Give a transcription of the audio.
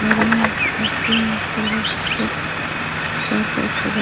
और यहाँ पर पिंक कलर से चारो तरफ सजा --